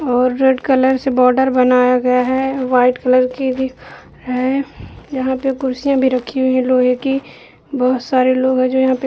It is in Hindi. और रेड कलर से बॉर्डर बनाया गया है वाइट कलर की भी है| यहाँ पर कुर्सियां भी रखी हुई है लोहे की बहोत सारे लोग है जो यहाँ पे --